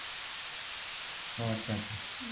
ଓଃ ଆଚ୍ଛା ଆଚ୍ଛା